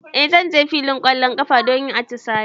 E, zan je filin ƙwallon ƙafa don yin atisaye.